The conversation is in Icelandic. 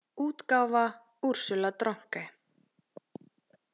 útgáfa Ursula Dronke.